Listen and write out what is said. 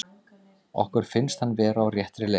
Okkur finnst hann vera á réttri leið.